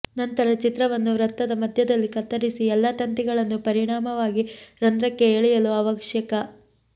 ನಂತರ ಚಿತ್ರವನ್ನು ವೃತ್ತದ ಮಧ್ಯದಲ್ಲಿ ಕತ್ತರಿಸಿ ಎಲ್ಲಾ ತಂತಿಗಳನ್ನು ಪರಿಣಾಮವಾಗಿ ರಂಧ್ರಕ್ಕೆ ಎಳೆಯಲು ಅವಶ್ಯಕ